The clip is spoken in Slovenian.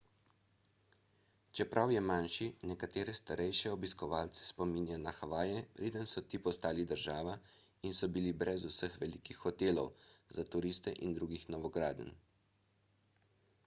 čeprav je manjši nekatere starejše obiskovalce spominja na havaje preden so ti postali država in so bili brez vseh velikih hotelov za turiste in drugih novogradenj